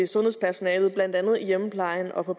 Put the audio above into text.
sundhedspersonalet blandt andet i hjemmeplejen og på